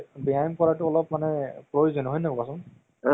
উম এইটো movies বহুত ভাল লাগিলে মোক চাই কিনে।